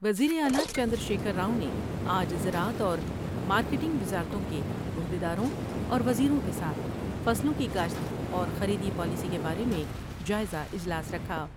وزیراعلی چندرشیکھر راؤ نے آج زراعت اور مارٹینگ وزارتوں کے عہدیداروں اور وزیروں کے ساتھ فصلوں کی کاشت اور خریدی پالیسی کے بارے میں جائز واجلاس رکھا ۔